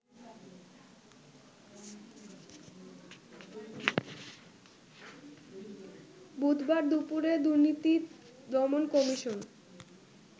বুধবার দুপুরে দুর্নীতি দমন কমিশন